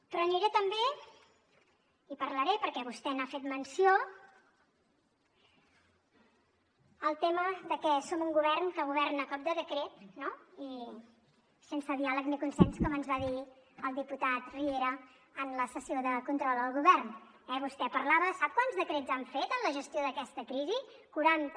però aniré també i en parlaré perquè vostè n’ha fet menció al tema de que som un govern que governa a cop de decret no i sense diàleg ni consens com ens va dir el diputat riera en la sessió de control al govern eh vostè parlava sap quants decrets han fet en la gestió d’aquesta crisi quaranta